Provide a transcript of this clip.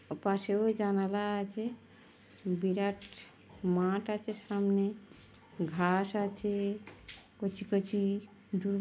পাশেও জানালা আছে। বিরাট মাঠ আছে সামনে ঘাস আছে কচি কচি দু --